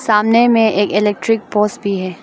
सामने मे एक इलेक्ट्रिक पोस भी है।